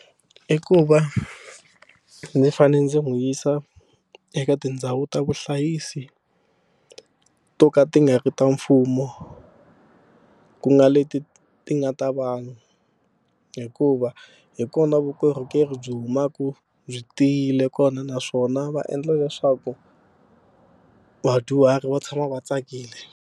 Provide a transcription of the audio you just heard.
I ku va ndzi fanele ndzi n'wi yisa eka tindhawu ta vuhlayisi to ka ti nga ri ta mfumo ku nga leti ti nga ta vanhu hikuva hi kona vukorhokeri byi humaka byi tiyile kona naswona va endla leswaku vadyuhari va tshama va tsakile.